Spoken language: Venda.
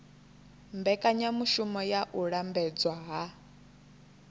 mbekanyamushumo ya u lambedzwa ha